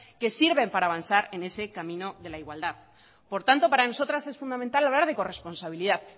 que sirven para avanzar en ese camino la igualdad por tanto para nosotras es fundamental hablar de corresponsabilidad